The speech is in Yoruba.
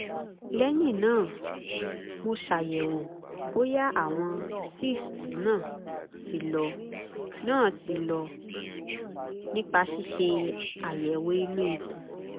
lẹ́yìn náà mo ṣàyẹ̀wò bóyá àwọn cysts náà ti lọ náà ti lọ nípa ṣíṣe àyẹ̀wò inú ikùn